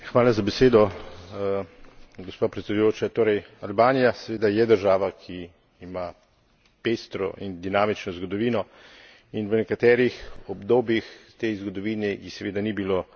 Torej Albanija seveda je država, ki ima pestro in dinamično zgodovino in v nekaterih obdobjih v tej zgodovini ji seveda ni bilo dano napredovati tako, kot bi želela.